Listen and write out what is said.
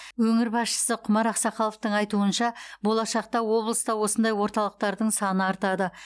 өңір басшысы құмар ақсақаловтың айтуынша болашақта облыста осындай орталықтардың саны артады